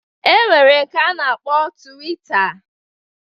E nwere nke a na-akpọ twita